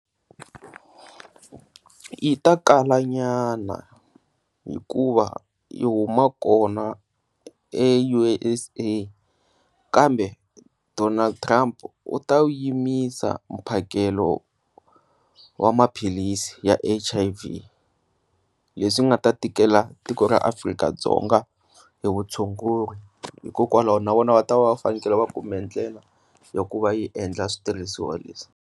Yi ta kalanyana hikuva i huma kona eUSA kambe Donald Trump u ta wu yimisa mphakelo wa maphilisi ya H_I_V, leswi nga ta tikela tiko ra Afrika-Dzonga hi vutshunguri hikokwalaho na vona va ta va fanele va kume ndlela ya ku va yi endla switirhisiwa leswi.